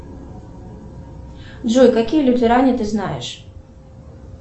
джой какие лютеране ты знаешь